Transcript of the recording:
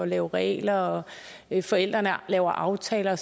lave regler at forældrene laver aftaler